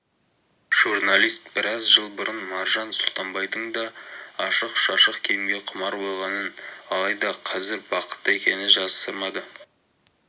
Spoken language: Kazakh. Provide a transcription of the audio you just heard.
журналист біраз жыл бұрын маржан сұлтанбайдың да ашық-шашық киімге құмар болғанын алайда қазір бақытты екенін жасырмады